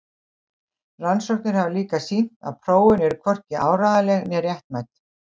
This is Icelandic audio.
Rannsóknir hafa líka sýnt að prófin eru hvorki áreiðanleg né réttmæt.